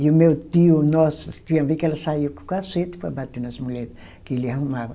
E o meu tio, nossa, tinha ver que ela saía com o cacete para bater nas mulher que ele arrumava.